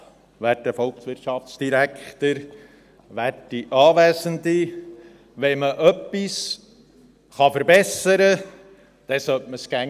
Wenn man etwas verbessern kann, dann sollte man es immer tun.